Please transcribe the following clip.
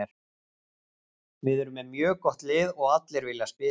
Við erum með mjög gott lið og allir vilja spila.